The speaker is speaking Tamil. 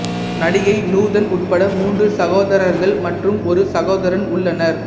நடிகை நூதன் உட்பட மூன்று சகோதரர்கள் மற்றும் ஒரு சகோதரன் உள்ளனர்